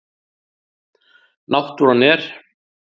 Náttúran er.